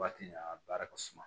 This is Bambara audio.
Waati in a baara ka suma